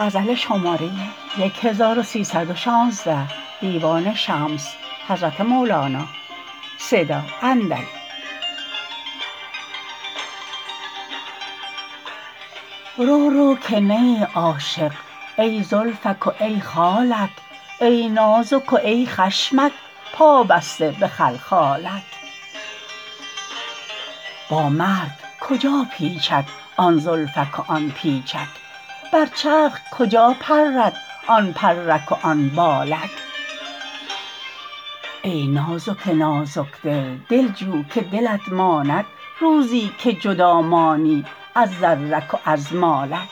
رو رو که نه ای عاشق ای زلفک و ای خالک ای نازک و ای خشمک پابسته به خلخالک با مرگ کجا پیچد آن زلفک و آن پیچک بر چرخ کجا پرد آن پرک و آن بالک ای نازک نازک دل دل جو که دلت ماند روزی که جدا مانی از زرک و از مالک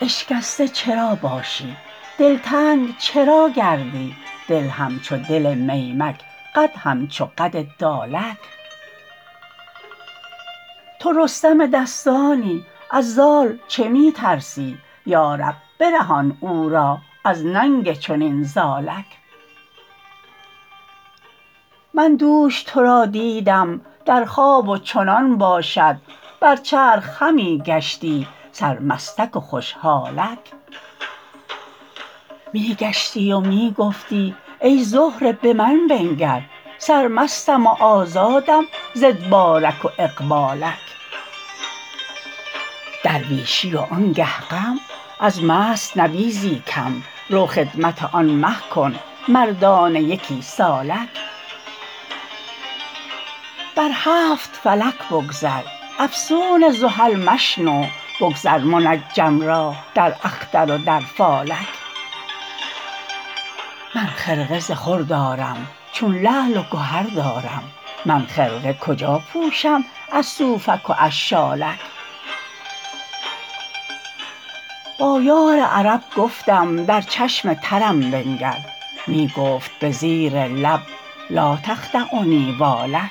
اشکسته چرا باشی دلتنگ چرا گردی دل همچو دل میمک قد همچو قد دالک تو رستم دستانی از زال چه می ترسی یا رب برهان او را از ننگ چنین زالک من دوش تو را دیدم در خواب و چنان باشد بر چرخ همی گشتی سرمستک و خوش حالک می گشتی و می گفتی ای زهره به من بنگر سرمستم و آزادم ز ادبارک و اقبالک درویشی وانگه غم از مست نبیذی کم رو خدمت آن مه کن مردانه یکی سالک بر هفت فلک بگذر افسون زحل مشنو بگذار منجم را در اختر و در فالک من خرقه ز خور دارم چون لعل و گهر دارم من خرقه کجا پوشم از صوفک و از شالک با یار عرب گفتم در چشم ترم بنگر می گفت به زیر لب لا تخدعنی والک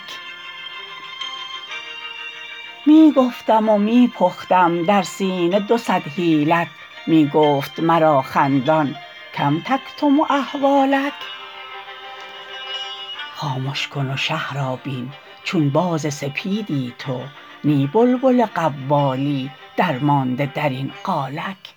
می گفتم و می پختم در سینه دو صد حیلت می گفت مرا خندان کم تکتم احوالک خامش کن و شه را بین چون باز سپیدی تو نی بلبل قوالی درمانده در این قالک